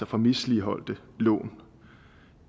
fra misligholdte lån